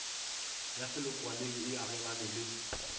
ya selokwaneng e agelane le